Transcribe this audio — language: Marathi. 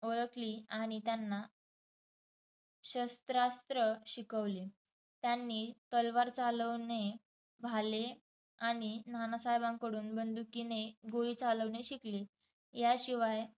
ओळखली आणि त्यांना शस्त्रास्त्र शिकवले. त्यांनी तलवार चालवणे, भाले आणि नानासाहेबांकडून बंदुकीने गोळी चालवणे शिकली. याशिवाय